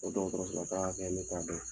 O dɔgɔtɔrɔso lataga kɛ ne t'a dɔn.